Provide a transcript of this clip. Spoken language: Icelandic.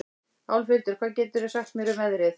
Álfhildur, hvað geturðu sagt mér um veðrið?